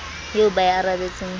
eo ba e arabetseng ha